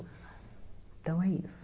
Então é isso.